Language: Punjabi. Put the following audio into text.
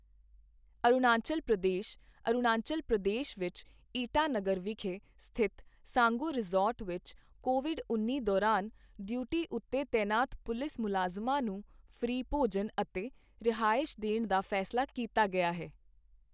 ਅਰੁਣਾਚਲ ਪ੍ਰਦੇਸ਼ - ਅਰੁਣਾਚਲ ਪ੍ਰਦੇਸ਼ ਵਿੱਚ ਈਟਾਨਗਰ ਵਿਖੇ ਸਥਿਤ ਸਾਂਗੋ ਰਿਜ਼ੌਰਟ ਵਿੱਚ ਕੋਵਿਡ ਉੱਨੀ ਦੌਰਾਨ ਡਿਊਟੀ ਉੱਤੇ ਤਾਇਨਾਤ ਪੁਲਿਸ ਮੁਲਾਜ਼ਮਾਂ ਨੂੰ ਫ੍ਰੀ ਭੋਜਨ ਅਤੇ ਰਿਹਾਇਸ਼ ਦੇਣ ਦਾ ਫੈਸਲਾ ਕੀਤਾ ਗਿਆ ਹੈ।